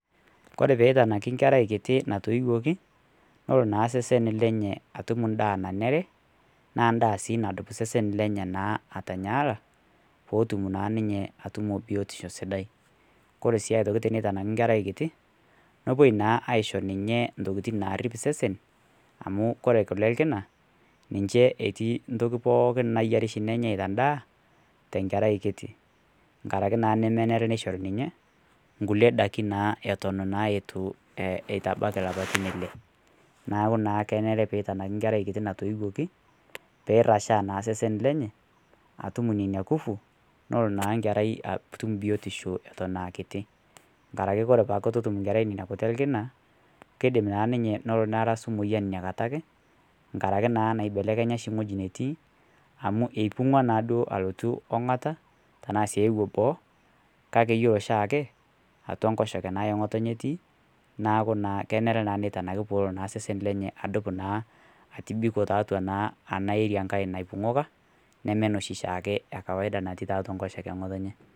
Kore pee itanaaki nkerai kitii naitoioki noloo naa sesen lenyee atuum ndaa nenere , naa ndaa sii naduup sesen lenye naa aitayaala pootum naa ninye atumoo biotisho sidai. Kore sii aitoki tenetanaki nkerrai kitii nepoi naa aishoo ninye ntokitin nariip sesen amu kore kulee e lkinaa ninchee etii ntokiti pookin naiyaari shii nenyai te ndaa te nkerrai kitii. Ng'araki naa nimenere neishori ninye kulee ndaakin naa etoon eitabaki laapatin le elee. Naaku naa keneree pee eitanakii nkerrai kitii naitoioki pee rashaa naa sesen lenye atuum enia nkuvuu lenoo naa nkerrai atuum biotisho etoon aa kitii. Ng'araki kore paa atuu otuum nkerrai neni kutii elkina keidiim naa ninye lonoo neraasu moyian enia nkaata ake, ng'araki naa neibelekenya shii ng'oji netii amu eibung'wa naado alutuu ong'ata tana sii euyoo boo kakii eloo shaake atuaa nkosheke naa eng'otenye netii. Naaku naa keneree naa neitanaki poloo naa sesen lenye aduup naa atibiiko tatua naa ana area nkaai naibung'oka nemee noshii shiake ekawaida natii nkosheke eng'otenye.